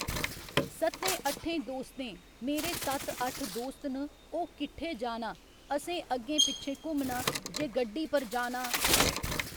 सत्तें अट्ठें दोस्तें मेरे सत्त अट्ठ दोस्त न ओह् किट्ठे जाना असें अग्गें पिच्छें घुम्मना जे गड्डी पर जाना